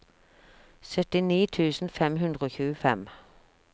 syttini tusen fem hundre og tjuefem